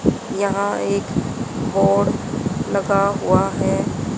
यहां एक बोर्ड लगा हुआ है।